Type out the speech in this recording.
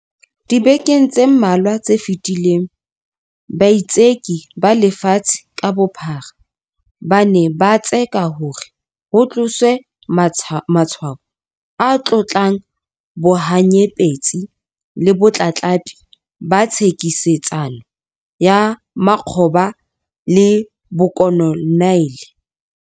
Dibekeng tse mmalwa tse fetileng, baitseki ba lefatshe ka bophara ba ne ba tseka hore ho tloswe matshwao a tlotlang bohanyapetsi le botlatlapi ba thekisetsano ya makgoba le bokoloniale.